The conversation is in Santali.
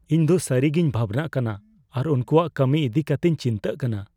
ᱤᱧ ᱫᱚ ᱥᱟᱹᱨᱤᱜᱮᱧ ᱵᱷᱟᱵᱱᱟᱜ ᱠᱟᱱᱟ ᱟᱨ ᱩᱱᱠᱩᱣᱟᱜ ᱠᱟᱹᱢᱤ ᱤᱫᱤ ᱠᱟᱛᱮᱧ ᱪᱤᱱᱛᱟᱹᱜ ᱠᱟᱱᱟ ᱾